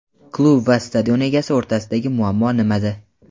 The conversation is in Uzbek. Klub va stadion egasi o‘rtasidagi muammo nimada?.